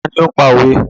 Ta ni ó ń pa òwe?